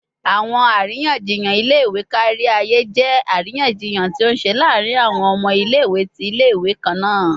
Awọn ariyanjiyan ile-iwe kariaye jẹ ariyanjiyan ti o ṣe laarin awọn ọmọ ile-iwe ti ile-iwe kanna